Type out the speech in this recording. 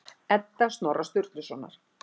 Edda Snorra Sturlusonar.